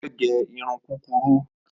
Ó fẹ́ gẹ irun kúrurú